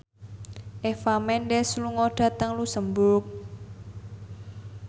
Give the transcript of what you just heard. Eva Mendes lunga dhateng luxemburg